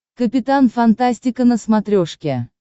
капитан фантастика на смотрешке